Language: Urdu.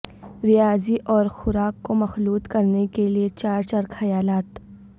ریاضی اور خوراک کو مخلوط کرنے کے لئے چار چار خیالات